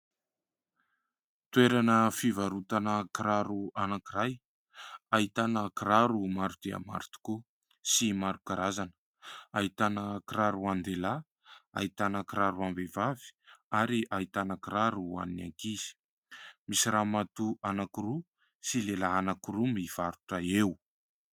Toerana fivarotana kiraro anankiray, ahitana kiraro maro dia maro tokoa, sy maro karazana. Ahitana kiraro an-dehilahy, ahitana kiraro am-behivavy, ary ahitana kiraro ho an'ny ankizy. Misy ramatoa anankiroa, sy lehilahy anankiroa mivarotra eo.